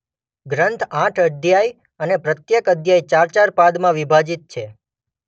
ગ્રન્થ આઠ અધ્યાય અને પ્રત્યેક અધ્યાય ચાર-ચાર પાદમાં વિભાજિત છે.